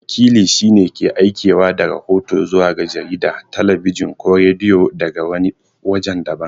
Wakili shi ne wanda yake aikewa da rahoto zuwa ga jarida, talabijin ko rediyo daga wani wajen daban.